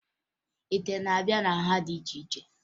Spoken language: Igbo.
Ite na-abịa na nha dị iche iche